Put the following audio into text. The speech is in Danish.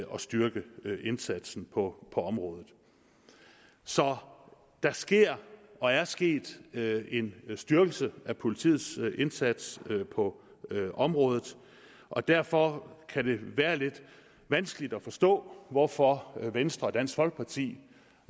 styrke indsatsen på området så der sker og er sket en styrkelse af politiets indsats på området og derfor kan det være lidt vanskeligt at forstå hvorfor venstre og dansk folkeparti